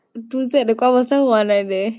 তোৰ যে এনেকুৱা অৱস্তা হোৱা নাই দে ।